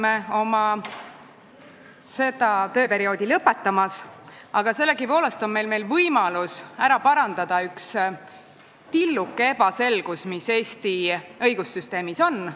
Me hakkame oma tööperioodi lõpetama, aga meil on veel võimalus kõrvaldada üks tilluke ebaselgus, mis Eesti õigussüsteemis on.